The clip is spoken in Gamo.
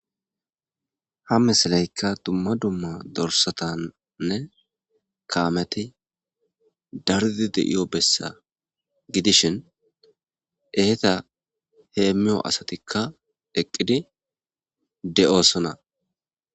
Ha misileka duma duma dorsatanne kameti daridi de'iyo besa gidishin eta hemo asatika eqidi de'osona